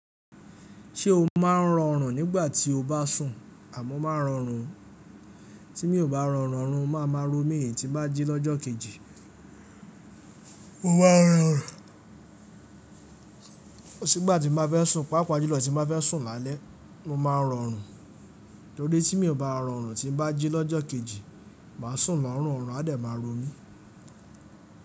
Ṣé o máa ń rọrùn nígbà tí o bá sùn? Àmọ́ máa rọrùn, tí mi ò bá rọrùn, òrùn máa máa ro mí, tí n bá jí lọ́jọ́ kejì. Mo máa ń rọrùn, kosi gbà tí mo bá fẹ́ sùn, pàápàá jùlọ tí mo bá fẹ́ sùn lálẹ́, o máa ń rọrùn. Torí tí mi ò bá rọrùn tí bá jí lọ́jọ́ kejì, màá sùn lorùn, ọ̀rùn a dẹ̀ máa ro mí.